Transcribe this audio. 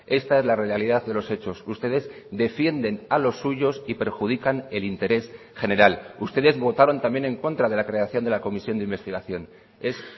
esta es la realidad de los hechos ustedes defienden a los suyos y perjudican el interés general ustedes votaron también en contra de la creación de la comisión de investigación es